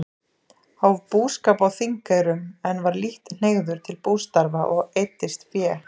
Hóf búskap á Þingeyrum, en var lítt hneigður til bústarfa og eyddist fé.